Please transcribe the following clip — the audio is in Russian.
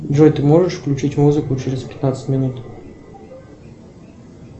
джой ты можешь включить музыку через пятнадцать минут